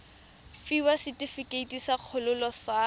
fiwa setefikeiti sa kgololo sa